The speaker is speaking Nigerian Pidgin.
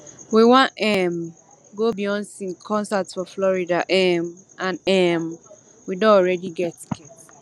we wan um go beyonce concert for florida um and um we don already get ticket